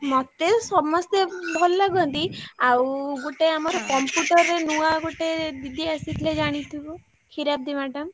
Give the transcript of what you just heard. ମତେ ସମସ୍ତେ ଭଲ ଲାଗନ୍ତି ଆଉ ଗୋଟେ ଆମର Computer ରେ ନୂଆ ଗୋଟେ ଦିଦି ଆସିଥିଲେ ଜାଣିଥିବୁ କ୍ଷୀରାବ୍ଡି madam